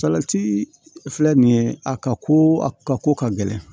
Salati filɛ nin ye a ka ko a ka ko ka gɛlɛn